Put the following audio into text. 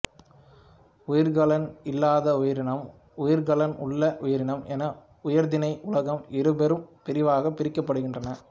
உயிர்க்கலன் இல்லாத உயிரினம் உயிர்க்கலன் உள்ள உயிரினம் என உயிர்த்திணை உலகம் இருபெரும் பிரிவாகப் பிரிக்கப்படுகின்றன